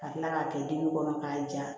Ka kila k'a kɛ dimi kɔnɔ k'a ja